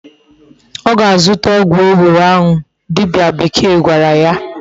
O ga-azuta ogwu ewuro ahu dibia bekee gwara ya